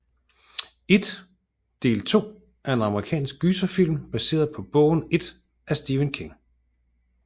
It del 2 er en amerikansk gyserfilm baseret på bogen It af Stephen King